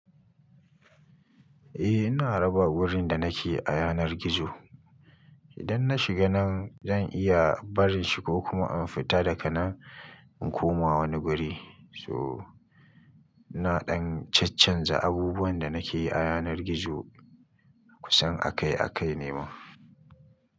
Eh ina raba wurin da nake a yanar gizo. Idan na shiga nan zan iya barin shi ko kuma in fita daga nan in koma wani guri. So, ina ɗan chachanza abubuwan da nake yi a yanar gizo kusan akai-akai ne ma.